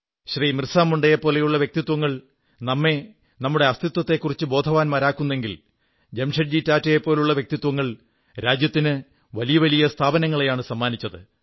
ബിർസാ മുണ്ടയുടേതുപോലുള്ള വ്യക്തിത്വങ്ങൾ നമ്മെ നമ്മുടെ അസ്തിത്വത്തെക്കുറിച്ചു ബോധവാന്മാരാക്കുന്നെങ്കിൽ ജാംഷഡ്ജി ടാറ്റയെപ്പോലുള്ള വ്യക്തിത്വങ്ങൾ രാജ്യത്തിന് വലിയ വലിയ സ്ഥാപനങ്ങളെയാണ് സമ്മാനിച്ചത്